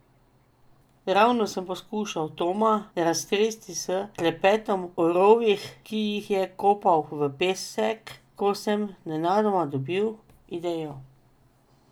Ravno sem poskušal Toma raztresti s klepetom o rovih, ki jih je kopal v pesek, ko sem nenadoma dobil idejo.